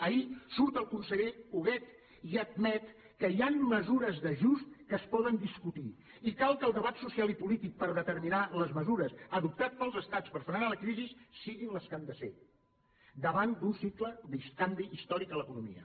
ahir surt el conseller huguet i admet que hi han mesures d’ajust que es poden discutir i cal que el debat social i polític per determinar les mesures adoptat pels estats per frenar la crisi siguin les que han de ser davant d’un cicle de canvi històric a l’economia